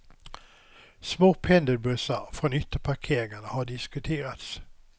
Små pendelbussar från ytterparkeringarna har diskuterats.